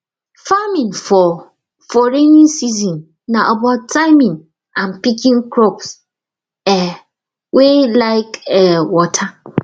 farming for for rainy season na about timing and picking crops um wey like um water